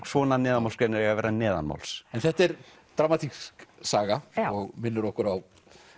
svona neðanmálsgreinar eiga að vera neðanmáls þetta er dramatísk saga og minnir okkur á